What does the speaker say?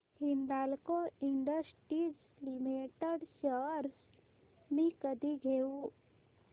Hindalco industries limited shares मी कधी घेऊ